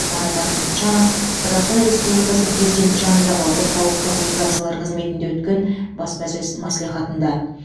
марат ахметжанов қазақстан республикасы президенті жанындағы орталық коммуникациялар қызметінде өткен баспасөз мәслихатында